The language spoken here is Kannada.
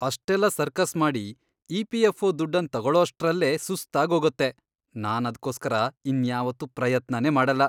ಅಷ್ಟೆಲ್ಲ ಸರ್ಕಸ್ ಮಾಡಿ ಇ.ಪಿ.ಎಫ್.ಒ. ದುಡ್ಡನ್ ತಗೊಳೋಷ್ಟ್ರಲ್ಲೇ ಸುಸ್ತಾಗೋಗತ್ತೆ, ನಾನದ್ಕೋಸ್ಕರ ಇನ್ಯಾವತ್ತೂ ಪ್ರಯತ್ನನೇ ಮಾಡಲ್ಲ.